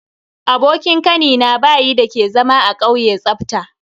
Abokin Kanina bayi dake zama a kauye tsafta.